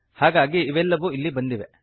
ಹಾಗಾಗಿ ಇವೆಲ್ಲವೂ ಇಲ್ಲಿ ಬಂದಿವೆ